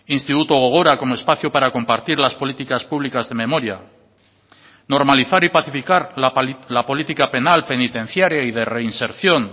instituto gogora como espacio para compartir las políticas públicas de memoria normalizar y pacificar la política penal penitenciaria y de reinserción